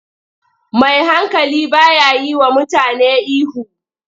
Mai hankali ba ya yiwa mutane ihu.